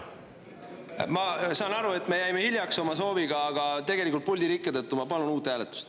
Ma saan aru, et me jäime oma sooviga hiljaks, aga puldi rikke tõttu ma palun uut hääletust.